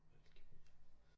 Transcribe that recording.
Alkymia